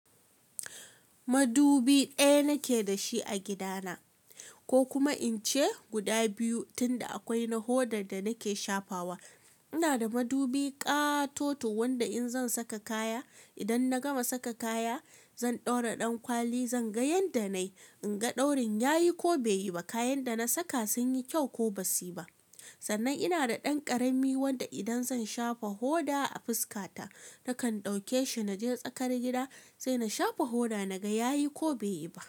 Madubi ɗaya nake da shi a gida na ko kuma in ce guda biyu tunda akwai na hodar da nake shafawa. Ina da madubi ƙatoto wanda in zan saka kaya, idan na gama saka kaya zan ɗaura dankwali zan ga yanda na yi, in ga daurin yayi ko bai yi ba, kayan da na saka sun yi kyau ko ba su yi ba. Sannan ina da ɗan karami wanda idan zan shafa hoda a fuska ta nakan ɗauke shi na je tsakar gida sai na shafa hoda na ga yayi ko bai yi ba.